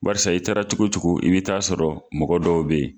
Barisa i taara cogo cogo i bɛ taa sɔrɔ mɔgɔ dɔw bɛ ye.